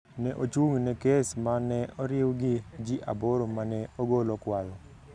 ne ochung’ ne kes ma ne oriw gi ji aboro ma ne ogolo kwayo